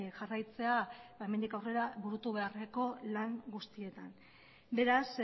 jarraitzea ba hemendik aurrera burutu beharreko lan guztietan beraz